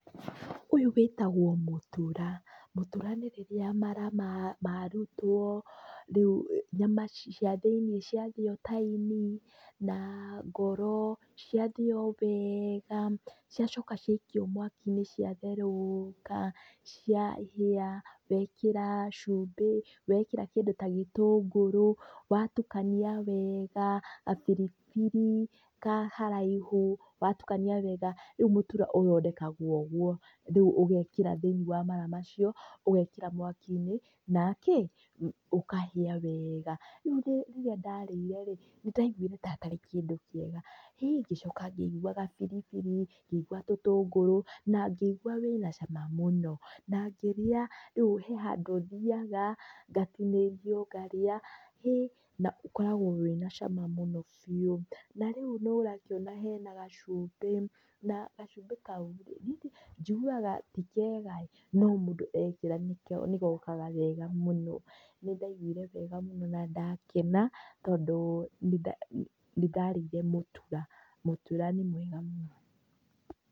Ũyũ wĩtagwo mũtura. Mũtura nĩ rĩrĩa mara marutwo, rĩu nyama cia thĩiniĩ ciathĩo ta ini, na ngoro, ciathĩo wega, ciacoka ciakio mwaki-inĩ ciatherũka, ciahĩa, wekĩra cumbĩ, wekĩra kĩndũ ta gĩtũngũrũ, watukania wega, gabiribiri ka haraihu, watukania wega. Rĩu mũtura ũthondekagwo ũguo. Rĩu ũgekĩra thĩiniĩ wa mara macio, ũgekĩra mwaki-inĩ, na kĩ? Ũkahĩa wega. Rĩu rĩrĩa ndarĩire rĩ, nĩ ndaigwire ta atarĩ kĩndũ kĩega, ngĩcoka ngĩigua gabiribiri, ngĩigwa tũtũngũrũ, na ngĩigua wĩna cama mũno. Na ngĩrĩa rĩu he handũ thiaga, ngatinĩrio ngarĩa, hĩ na ũkoragwo wĩna cama mũno biũ. Na rĩu nĩ ũrakĩona hena gacumbĩ, na gacumbĩ kau njiguaga ti kega ĩĩ no mũndũ ekĩra nĩ gokaga wega mũno. Nĩ ndaiguire wega mũno na ndakena, tondũ nĩ nĩ ndarĩire mũtura. Mũtura nĩ mwega mũno.